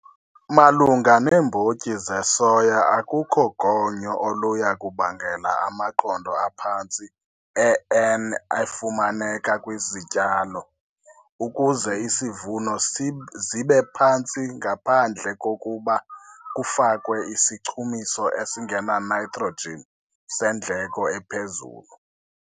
Malunga neembotyi zesoya, akukho gonyo oluya kubangela amaqondo aphantsi e-N efumaneka kwizityalo, ukuze isivuno zibe phantsi, ngaphandle kokuba kufakwe isichumiso esingena-nitrogen, seendleko eziphezulu.